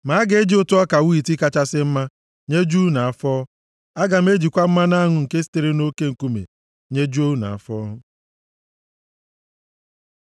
Ma a ga-eji ụtụ ọka wiiti kachasị mma, nyejuo unu afọ; aga m ejikwa mmanụ aṅụ nke sitere nʼoke nkume, nyejuo unu afọ.”